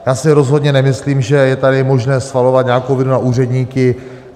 Já si rozhodně nemyslím, že je tady možné svalovat nějakou vinu na úředníky.